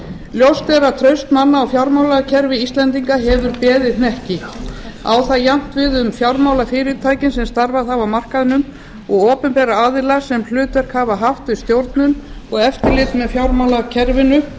ljóst er að raun manna á fjármálakerfi íslendinga hefur beðið hnekki á það jafnt við um fjármálafyrirtækin sem starfað hafa á markaðnum og opinberra aðila sem hlutverk hafa haft við stjórnun og eftirlit með fjármálakerfinu